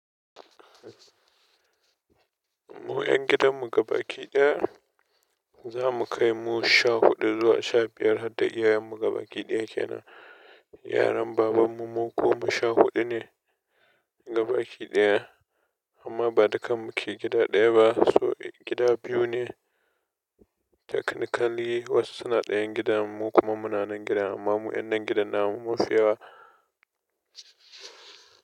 Mu 'yan gidan mu gabaki ɗaya, za mu kai mu sha huɗu zuwa sha biyar, harda yayan mu gabaki ɗaya ke nan. Yaran baban mu mu kuma sha huɗu ne gabaki ɗaya, amma ba dukan mu ke gida ɗaya ba. So gida biyu ne. Technically wasu suna ɗayan gidan, mu kuma muna nan gida, amma mu 'yan nan gidan namu munfi yawa.